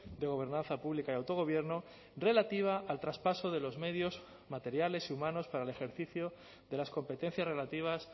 de gobernanza pública y autogobierno relativa al traspaso de los medios materiales y humanos para el ejercicio de las competencias relativas